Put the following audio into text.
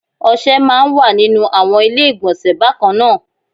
Ọṣẹ máa ń wà nínú àwọn ilé ìgbọ̀nsẹ̀ bákan náà